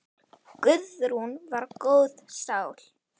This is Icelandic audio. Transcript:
Guðrún var góð sál.